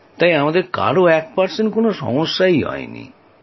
তাই আমাদের কারও ১ শতাংশও কোন সমস্যা হয়নি